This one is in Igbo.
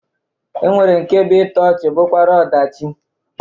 E nwere nke bụ ịtọ ọchị bụkwara ọdachi